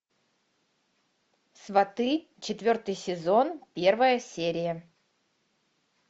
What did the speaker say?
сваты четвертый сезон первая серия